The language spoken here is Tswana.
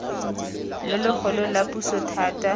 lo logolo la puso thata